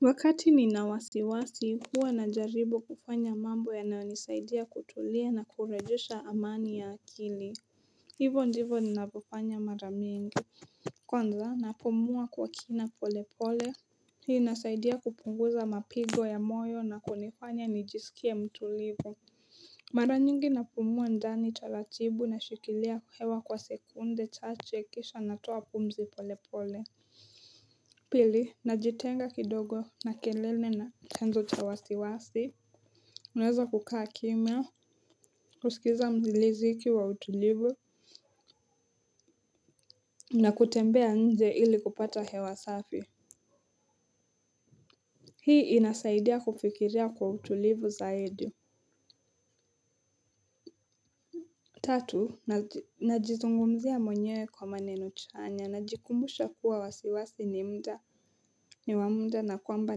Wakati nina wasiwasi huwa najaribu kufanya mambo yanayonisaidia kutulia na kurejesha amani ya akili. Hivyo ndivyo ninavyofanya mara mingi. Kwanza napumua kwa kina polepole. Hii inasaidia kupunguza mapigo ya moyo na kunifanya nijisikie mtulivu. Mara nyingi napumua ndani taratibu nashikilia hewa kwa sekunde chache kisha natoa pumzi polepole. Pili, najitenga kidogo na kelele na chanzo cha wasiwasi. Naweza kukaa kimya, kusikiza muziki wa utulivu, na kutembea nje ili kupata hewa safi. Hii inasaidia kufikiria kwa utulivu zaidi. Tatu, najizungumzia mwenyewe kwa maneno chanya, najikumbusha kuwa wasiwasi ni muda ni wa muda na kwamba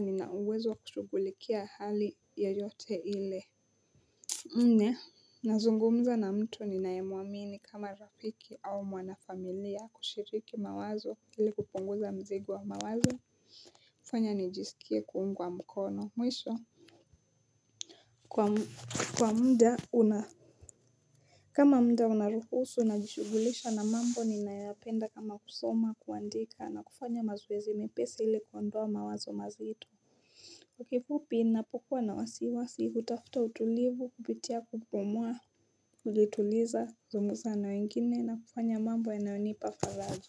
nina uwezo wa kushughulikia hali yeyote ile. Nne nazungumza na mtu ninayemwamini kama rafiki au mwanafamilia kushiriki mawazo ili kupunguza mzigo wa mawazo. Fanya nijisikie kuungwa mkono, mwisho. Kwa muda una kama muda unaruhusu najishughulisha na mambo ninayoyapenda kama kusoma kuandika na kufanya mazoezi mepesi ili kuondoa mawazo mazito. Kwa kifupi ninapokuwa na wasiwasi hutafuta utulivu kupitia kupumua kujituliza zungumza na wengine na kufanya mambo yanayonipa faraja.